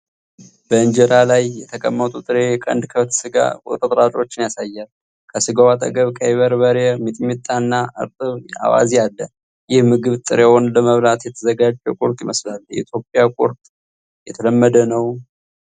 በእንጀራ ላይ የተቀመጡ ጥሬ የቀንድ ከብት ሥጋ ቁርጥራጮችን ያሳያል። ከስጋው አጠገብ ቀይ በርበሬ (ሚጥሚጣ) እና እርጥብ አዋዜ አለ። ይህ ምግብ ጥሬውን ለመብላት የተዘጋጀ ቁርጥ ይመስላል። የኢትዮጵያ ቁርጥ የተለመደ ነው?